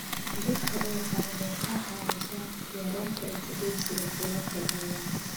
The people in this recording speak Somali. Dhirta ubaxa waxay ka caawisaa yareynta isdhaafsiga kuleylka deegaanka.